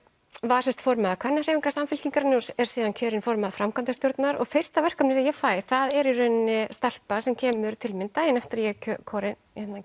var sem sagt formaður Kvennahreyfingar Samfylkingarinnar og er síðan kjörinn formaður framkvæmdarstjórnar og fyrsta verkefni sem ég fæ það er í rauninni stelpa sem kemur til mín daginn eftir að ég er